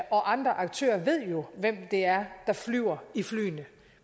og andre aktører ved jo hvem det er der flyver i flyene